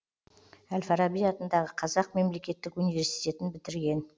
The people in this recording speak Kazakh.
әл фараби атындағы қазақ мемлекеттік университетін бітірген